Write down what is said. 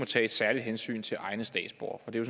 tage et særligt hensyn til egne statsborgere for det